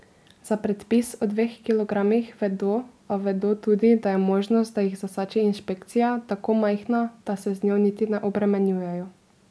Za predpis o dveh kilogramih vedo, a vedo tudi, da je možnost, da jih zasači inšpekcija, tako majhna, da se z njo niti ne obremenjujejo.